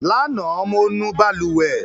Lánàá, mo nu balùwẹ̀.